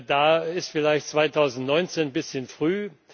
Da ist vielleicht 2019 ein bisschen früh.